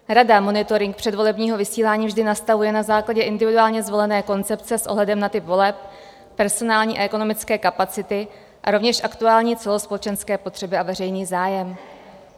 Rada monitoring předvolebního vysílání vždy nastavuje na základě individuálně zvolené koncepce s ohledem na typ voleb, personální a ekonomické kapacity a rovněž aktuální celospolečenské potřeby a veřejný zájem.